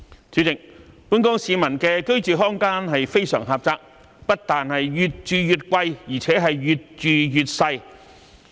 主席，本港市民的居住空間非常狹窄，不但越住越貴，而且越住越細。